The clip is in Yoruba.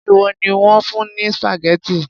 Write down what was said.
Ṣé ìwọ ni wón fún ní spaghetti?